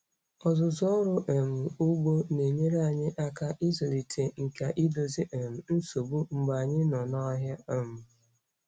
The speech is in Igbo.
Ọzụzụ ọrụ um ugbo na-enyere anyị aka ịzụlite nkà idozi um nsogbu mgbe anyị nọ n'ọhịa. um